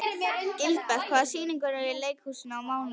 Gilbert, hvaða sýningar eru í leikhúsinu á mánudaginn?